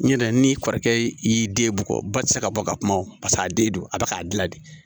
N ɲɛrɛ ni kɔrɔkɛ y'i den bugɔ ba ti se ka bɔ ka kuma wo paseke a den don a bɛ k'a dilan de